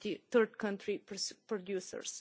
third country producers,